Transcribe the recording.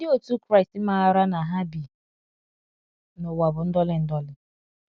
Ndị otu Kraịst maara na ha bi n’ụwa bụ ndọli ndọli.